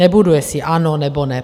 Nebudu, jestli ano nebo ne.